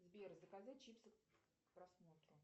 сбер заказать чипсы к просмотру